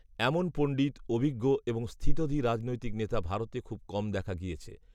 এমন পণ্ডিত, অভিজ্ঞ এবং স্থিতধী রাজনৈতিক নেতা ভারতে খুব কম দেখা গিয়েছে